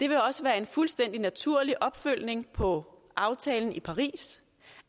det vil også være en fuldstændig naturlig opfølgning på aftalen fra paris